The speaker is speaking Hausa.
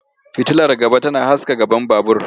Fitilar gaba tana haska gaban babur.